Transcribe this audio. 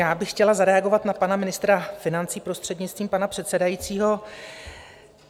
Já bych chtěla zareagovat na pana ministra financí, prostřednictvím pana předsedajícího.